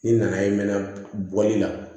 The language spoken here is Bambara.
Ni nana ye mɛ boli la